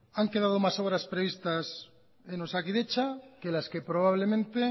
han quedado más obras previstas en osakidetza que las que probablemente